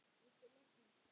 Viltu losna-?